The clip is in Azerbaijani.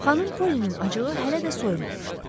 Xanım Polinin acığı hələ də soyumamışdı.